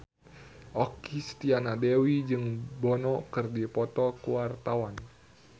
Okky Setiana Dewi jeung Bono keur dipoto ku wartawan